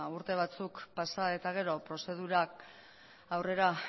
urte batzuk pasa eta gero prozedurak aurrera